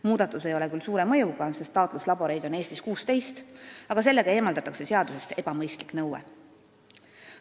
Muudatus ei ole küll suure mõjuga, sest taatluslaboreid on Eestis 16, aga sellega eemaldatakse seadusest ebamõistlik nõue.